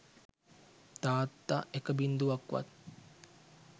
තාත්තා එක බිංදුවක්වත්